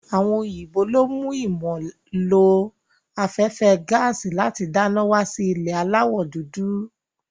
Àwọn òyìnbó lo mú ìmọ̀ ló afẹ́fẹ́ gaàsì láti dáná wá sí ilẹ̀ aláwọ̀ dúdú.